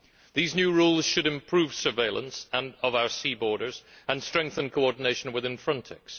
These new rules should improve surveillance of our sea borders and strengthen coordination within Frontex.